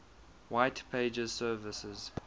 white pages services